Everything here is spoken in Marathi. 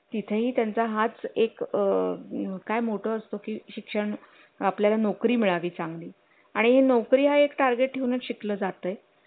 आपण कुठलीच साईन करता कामा नये जोपर्यंत ते आपल्या ह्याच्यामध्ये आहेत